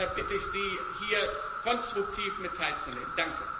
Deshalb bitte ich Sie, hier konstruktiv mit teilzunehmen.